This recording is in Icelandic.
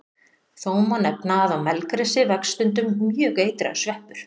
Þó má nefna að á melgresi vex stundum mjög eitraður sveppur.